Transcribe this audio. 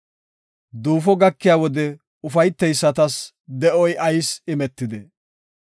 Duufo gakiya wode ufayteysatas, de7oy ayis imetidee?